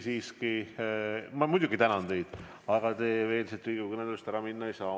Siiski, ma muidugi tänan teid, aga te veel siit Riigikogu kõnetoolist ära minna ei saa.